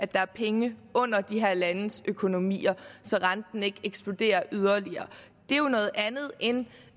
der er penge under de her landes økonomier så renten ikke eksploderer yderligere det er jo noget andet end